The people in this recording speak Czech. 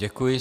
Děkuji.